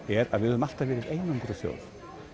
er að við höfum alltaf verið einangruð þjóð